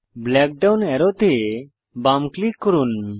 black down অ্যারোতে বাম click করুন